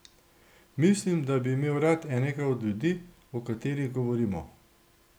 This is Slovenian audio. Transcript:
Mislim, da bi imel rad enega od ljudi, o katerih govorimo.